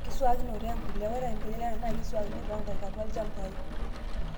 Enkiswakinoto empuliya:Ore empuliya naa keiswakini toonkaek atua ilchambai.